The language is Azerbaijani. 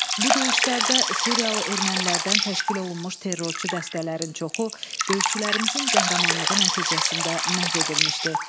Bu döyüşlərdə suriyalı ermənilərdən təşkil olunmuş terrorçu dəstələrin çoxu döyüşçülərimizin qəhrəmanlığı nəticəsində məhv edilmişdi.